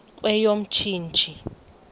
kweyomntsintsi